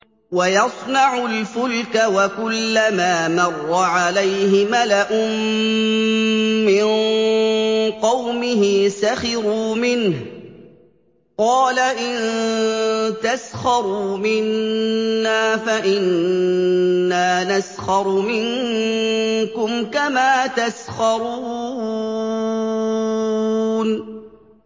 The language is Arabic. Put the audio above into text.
وَيَصْنَعُ الْفُلْكَ وَكُلَّمَا مَرَّ عَلَيْهِ مَلَأٌ مِّن قَوْمِهِ سَخِرُوا مِنْهُ ۚ قَالَ إِن تَسْخَرُوا مِنَّا فَإِنَّا نَسْخَرُ مِنكُمْ كَمَا تَسْخَرُونَ